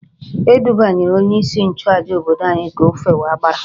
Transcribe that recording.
E dubanyere onyeisi nchụàjà obodo anyị ka o fewe agbara